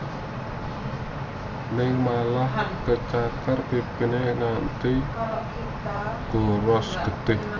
Ning malah kecakar pipine nganti godras getih